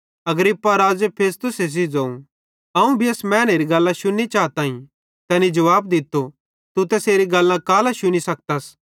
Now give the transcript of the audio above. अग्रिप्पा राज़े फेस्तुसे सेइं ज़ोवं अवं भी एस मैनेरी गल्लां शुननी चाताईं तैनी जुवाब दित्तो तू तैसेरी गल्लां कालां शुनी सखत्स